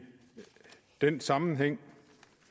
den sammenhæng